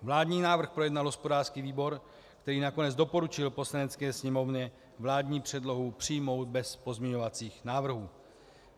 Vládní návrh projednal hospodářský výbor, který nakonec doporučil Poslanecké sněmovně vládní předlohu přijmout bez pozměňovacích návrhů.